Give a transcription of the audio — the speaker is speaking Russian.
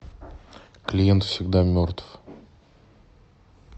клиент всегда мертв